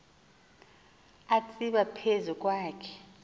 atsiba phezu kwakhe